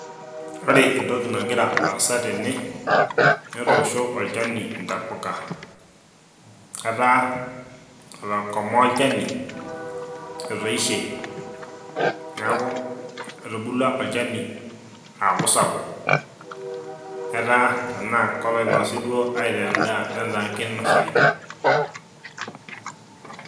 ore entoki nagira aasa tene netoosho olchani intapuka ataa ikomaa olchani etoishe niaku etubulua olchani aaku sapuk etaa tenaa koloinosi duo aitaa endaa netaa kinosayu.